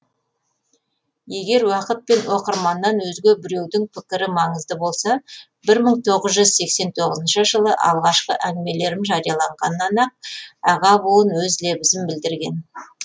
егер уақыт пен оқырманнан өзге біреудің пікірі маңызды болса мың тоғыз жүз сексен тоғызыншы жылы алғашқы әңгімелерім жарияланғаннан ақ аға буын өз лебізін білдірген